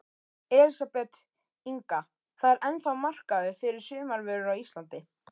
Elísabet Inga: Það er ennþá markaður fyrir sumarvörur á Íslandi?